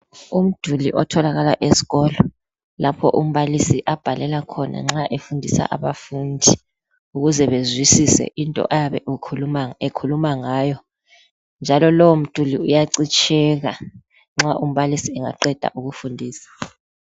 Umduli otholakala eskolo lapho umbalisi abhalela khona nxa efundisa abafundi ukuze bezwisise into ayabe ekhuluma ngayo njalo lowo mduli uyacitsheka nxa umbalisi engaqeda ukufundisa.